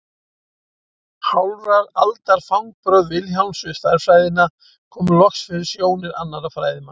Hálfrar aldar fangbrögð Vilhjálms við stærðfræðina komu loks fyrir sjónir annarra fræðimanna.